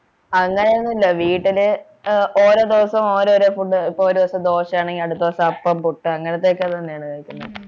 അങ്ങനെയൊന്നുമില്ല വീട്ടില് ഏർ ഓരോ ദിവസവും ഓരോരോ food ഇപ്പോൾ ഒരു ദിവസം ദോശയാണെങ്കിൽ അടുത്ത ദിവസം അപ്പം പുട്ട് അങ്ങനത്തെയൊക്കെ തന്നെയാണ് കഴിക്കുന്നേ